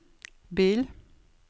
bil